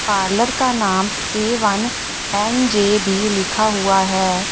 Parlour का नाम A one N J B लिखा हुआ है।